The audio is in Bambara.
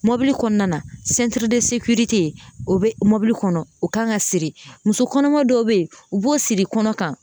Mɔbili kɔnɔna na o bɛ mɔbili kɔnɔ o kan ka siri muso kɔnɔma dɔw bɛ yen u b'o siri kɔnɔ kan.